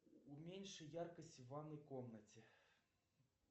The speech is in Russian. уменьши яркость в ванной комнате